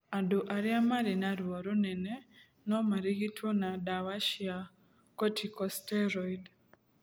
Andũ arĩa marĩ na ruo rũnene no marigitwo na dawa cia corticosteroid.